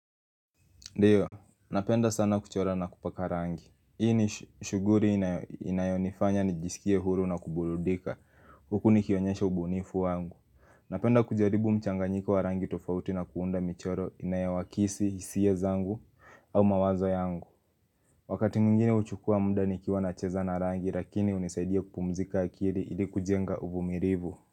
Ndio, napenda sana kuchora na kupaka rangi Hii ni shuguri inayonifanya nijisikie huru na kuburudika Huku nikionyesha ubunifu wangu Napenda kujaribu mchanganyiko wa rangi tofauti na kuunda michoro inayowakisi, hisia zangu au mawazo yangu Wakati mwingine huchukua mda nikiwa na cheza na rangi lakini unisaidia kupumzika akiri ili kujenga uvumirivu.